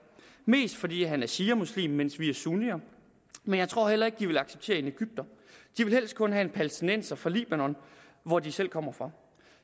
mest fordi han er shia muslim mens vi er sunnier men jeg tror heller ikke at de vil acceptere en egypter de vil helst kun have en palæstinenser fra libanon hvor de selv kommer fra